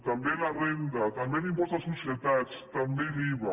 també la renda també l’impost de societats també l’iva